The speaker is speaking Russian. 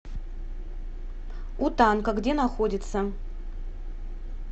у танка где находится